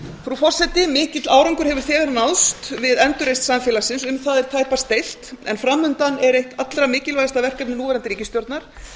frú forseti mikill árangur hefur þegar náðst við endurreisn samfélagsins um það er tæpast deilt en framundan er eitt allra mikilvægasta verkefni núverandi ríkisstjórnar